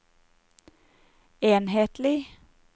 enhetlig